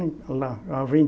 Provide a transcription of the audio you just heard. Lá